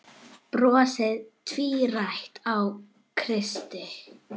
Brosið tvírætt á Kristi.